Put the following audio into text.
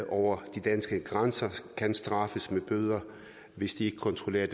over de danske grænser kan straffes med bøder hvis de ikke kontrollerer